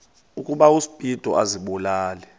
ukuba uspido azibulale